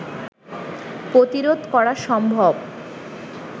প্রতিরোধ করা সম্ভব